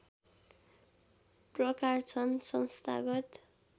प्रकार छन् संस्थागत